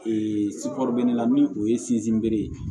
la ni o ye ye